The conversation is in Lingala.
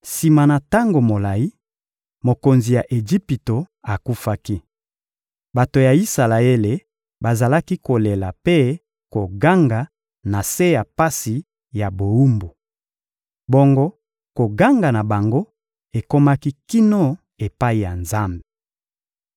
Sima na tango molayi, mokonzi ya Ejipito akufaki. Bato ya Isalaele bazalaki kolela mpe koganga na se ya pasi ya bowumbu. Bongo koganga na bango ekomaki kino epai ya Nzambe.